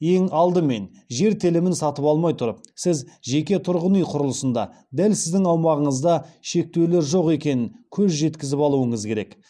ең алдымен жер телімін сатып алмай тұрып сіз жеке тұрғын үй құрылысында дәл сіздің аумағыңызда шектеулер жоқ екеніне көз жеткізіп алуыңыз керек